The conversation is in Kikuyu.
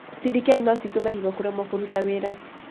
CDK no citũme higo kũremwo kũruta wĩra.